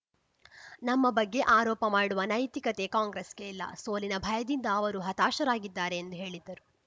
ನಮ್ಮ ಬಗ್ಗೆ ಆರೋಪ ಮಾಡುವ ನೈತಿಕತೆ ಕಾಂಗ್ರೆಸ್‌ಗೆ ಇಲ್ಲ ಸೋಲಿನ ಭಯದಿಂದ ಅವರು ಹತಾಶರಾಗಿದ್ದಾರೆ ಎಂದು ಹೇಳಿದರು